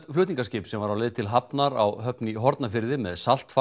flutningaskip sem var á leið VO til hafnar á Höfn í Hornafirði með